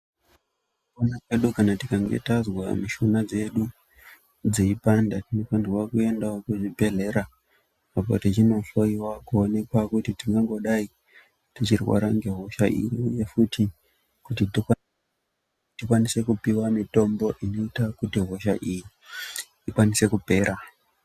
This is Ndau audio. Mukufamba kana tikanga tazwa mishuna dzedu dzeipanda tinofanirwa kwendawo kuzvibhedhlera apo techindohloyiwa kuonekwa kuti tingangodai teirwara ngehosha imweni futi kuti tikwanise kupiwa mitombo inoita kuti hosha iyi ikwanise kupera.